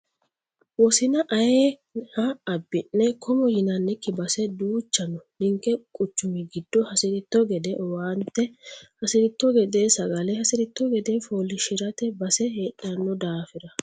Wosina ayeeha abbi'ne komo yinannikki base duucha noo ninke quchumi giddo hasiritto gede owaante hasiritto gede sagale hasiritto gede foolishshirate base heedhano daafira.